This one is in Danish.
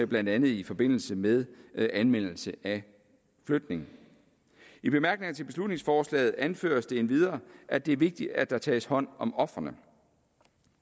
blandt andet i forbindelse med anmeldelse af flytning i bemærkningerne til beslutningsforslaget anføres det endvidere at det er vigtigt at der tages hånd om ofrene